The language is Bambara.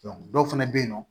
dɔw fɛnɛ bɛ yen nɔ